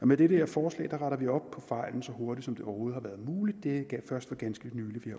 med det her forslag retter vi op på fejlen så hurtigt som det overhovedet har været muligt det er først for ganske nylig vi